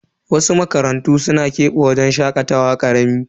Wasu makarantu suna kebe wajen shakatawa karami.